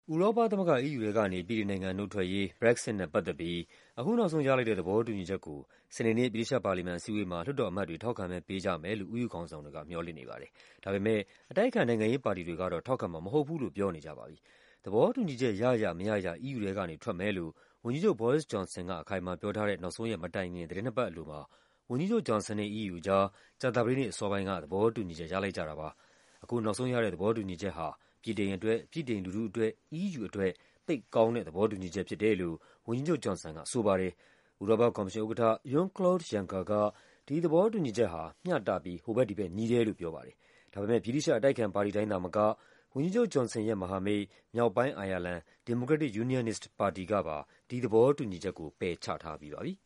ဥရောပသမဂ္ဂ EU ထဲကနေ ဗြိတိန်နိုင်ငံနုတ်ထွက်ရေး Brexit နဲ့ ပတ်သက်ပြီး အခုနောက်ဆုံးရ လိုက်တဲ့ သဘောတူညီချက်ကို စနေနေ့ ဗြိတိသျှပါလီမန်အစည်းအဝေးမှာ လွှတ်တော်အမတ်တွေ ထောက်ခံမဲပေးကြမယ်လို့ EU ခေါင်းဆောင်တွေက မျှော်လင့် နေပါတယ်။ ဒါပေမယ့် အတိုက်အခံ နိုင်ငံရေးပါတီတွေကတော့ ထောက်ခံမှာမဟုတ်ဘူးလို့ ပြောနေကြပါပြီ။ သဘောတူညီချက် ရရ မရရ EU ထဲကနေ ထွက်မယ်လို့ ဝန်ကြီးချုပ် Boris Johson က အခိုင်အမာပြောထားတဲ့ နောက်ဆုံးရက် မတိုင်ခင် သီတင်းနှစ်ပတ်အလိုမှာ ဝန်ကြီးချုပ် Johnson နဲ့ EU အကြား ကြာသပတေးနေ့အစောပိုင်းက သဘောတူညီချက် ရလိုက်ကြတာပါ။ အခုနောက်ဆုံးရတဲ့ သဘောတူညီချက်ဟာ ဗြိတိန်အတွက်၊ ဗြိတိန်လူထုအတွက်၊ EU အတွက် သိပ်ကောင်းတဲ့ သဘောတူညီ ချက်ဖြစ်တယ်လို့ ဝန်ကြီးချုပ် Johnson ကဆိုပါတယ်။ ဥရောပကော်မရှင်ဥက္ကဋ္ဌ Jean-Claude Juncker က ဒီသဘောတူညီချက်ဟာ “မျှတပြီး ဟိုဘက်ဒီဘက် ညီတယ်” လို့ ပြောပါတယ်။ ဒါပေမယ့် ဗြိတိသျှ အတိုက်အခံပါတီတိုင်း သာမက ဝန်ကြီးချုပ် Johnson ရဲ့မဟာမိတ် မြောက်ပိုင်းအိုင်ယာလန် Democratic Unionist ပါတီကပါ ဒီသဘောတူညီချက်ကို ပယ်ချထားပြီးပါပြီ။